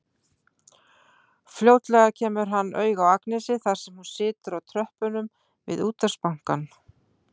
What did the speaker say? Fljótlega kemur hann auga á Agnesi þar sem hún situr á tröppunum við Útvegsbankann.